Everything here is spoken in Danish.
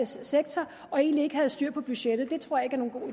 sektor og egentlig ikke havde styr på budgettet